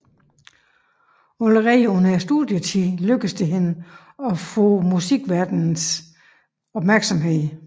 Allerede under studietiden lykkedes det hende at opnå musikverdenens opmærksomhed